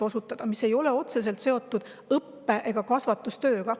See ei ole otseselt seotud õppe- ega kasvatustööga.